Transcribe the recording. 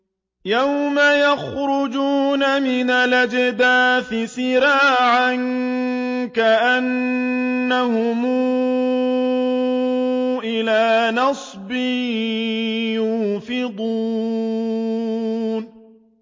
يَوْمَ يَخْرُجُونَ مِنَ الْأَجْدَاثِ سِرَاعًا كَأَنَّهُمْ إِلَىٰ نُصُبٍ يُوفِضُونَ